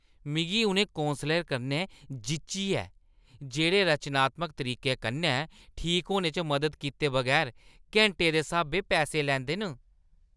मिगी उ'नें कौंसलरें कन्नै जिच्ची ऐ जेह्ड़े रचनात्मक तरीके कन्नै ठीक होने च मदद कीते बगैर घैंटें दे स्हाबें पैसे लैंदे न।